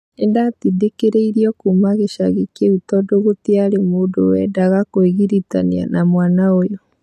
Nĩndatindĩkĩrĩirio kuma gĩcagĩ kĩu tondũgũtiarĩ mũndũwendaga kwĩgiritania na mwana ũyũ.